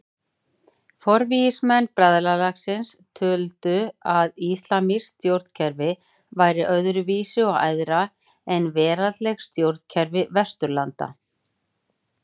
Forvígismenn bræðralagsins töldu að íslamskt stjórnkerfi væri öðru vísi og æðra en veraldleg stjórnkerfi Vesturlanda.